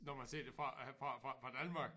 Når man ser det fra fra fra fra Danmark